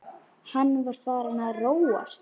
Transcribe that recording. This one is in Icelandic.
Hann var farinn að róast.